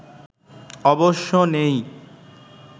অবশ্য নেই